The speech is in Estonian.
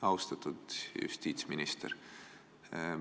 Austatud justiitsminister!